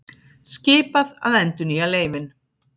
Skipað að endurnýja leyfin